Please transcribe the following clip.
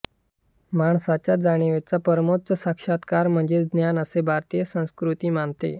माणसाच्या जाणिवेचा परमोच्च साक्षात्कार म्हणजे ज्ञान असे भारतीय संस्कृती मानते